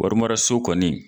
Wari mara so kɔni